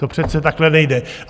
To přece takhle nejde.